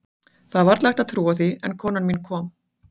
Það er varla hægt að trúa því, en konan mín kom.